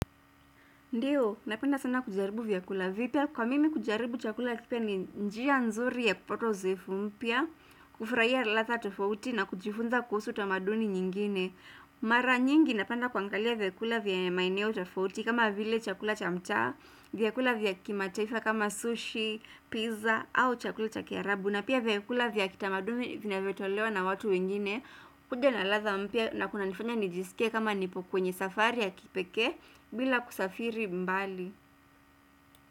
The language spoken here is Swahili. Ndiyo, napenda sana kujaribu vyakula vipya. Kwa mimi kujaribu chakula kipya ni njia nzuri ya kupata uzefu mpya, kufurahia ladha tofauti na kujifunza kuhusu tamaduni nyingine. Mara nyingi napenda kuangalia vyakula vya maeneo tofauti kama vile chakula cha mtaa, vyakula vya kimataifa kama sushi, pizza au chakula cha kiarabu. Na pia vyakula vya kitamaduni vinavyotolewa na watu wengine. Kuja na ladha mpya na kunanifanya nijisike kama nipo kwenye safari ya kipekee bila kusafiri mbali.